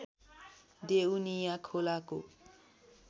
देउनिया खोलाको